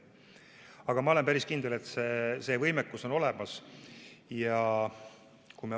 Aga ma olen päris kindel, et see võimekus on olemas.